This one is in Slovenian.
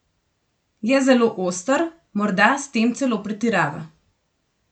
Je zelo oster, morda s tem celo pretirava.